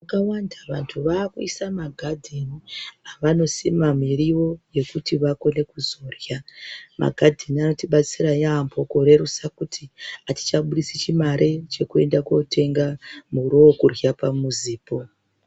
Vakawanda vanhu vakuisa magadheni avanosima miriwo yekuti vakone kuzorya. Magadheni anotibatsira yaamho kurerusa kuti atichabudisi chimari chekutenga muriwo wekurya pamuzipo.